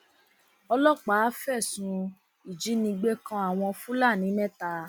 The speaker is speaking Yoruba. ọlọpàá fẹsùn ìjínigbé kan àwọn fulani mẹta